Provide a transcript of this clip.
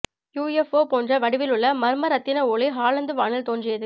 UFO போன்ற வடிவிலுள்ள மர்ம ரத்தின ஒளி ஹாலந்து வானில் தோன்றியது